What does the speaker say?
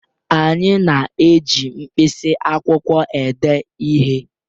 Anyị na-eji mkpịsị akwụkwọ ede ihe